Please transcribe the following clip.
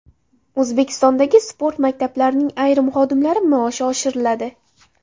O‘zbekistondagi sport maktablarining ayrim xodimlari maoshi oshiriladi.